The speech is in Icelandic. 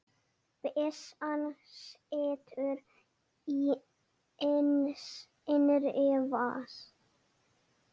Byssan situr í innri vas